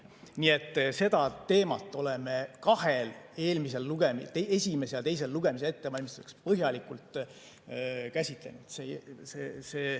Nii et seda teemat oleme kahel eelmisel lugemisel, esimese ja teise lugemise ettevalmistamisel põhjalikult käsitlenud.